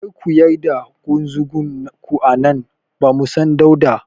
Kar ku yar da ƙunzugun ku a nan, bamu son dauɗa.